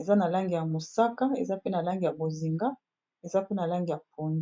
eza na langi ya mosaka, eza pe na langi ya bozinga, eza pe na langi ya pondu .